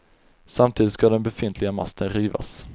Samtidigt ska den befintliga masten rivas.